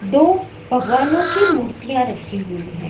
दो भगवानों की मूर्तियां रखी हुई है।